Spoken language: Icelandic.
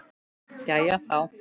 Jæja, þá.